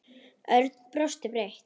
Örn brosti breitt.